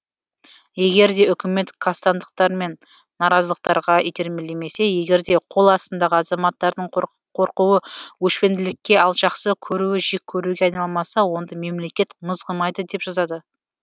егерде үкімет қастандықтар мен наразылықтарға итермелемесе егерде қол астындағы азаматтардың қорқуы өшпенділікке ал жақсы көруі жек көруге айналмаса онда мемлекет мызғымайды деп жазады